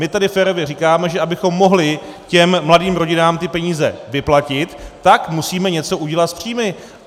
My tady férově říkáme, že abychom mohli těm mladým rodinám ty peníze vyplatit, tak musíme něco udělat s příjmy.